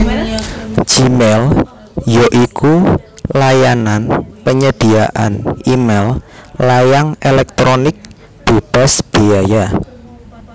Gmail ya iku layanan penyediaan e mail layang éléktronik bébas béaya